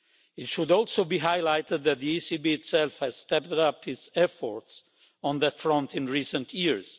It should also be highlighted that the ECB itself has stepped up its efforts on that front in recent years.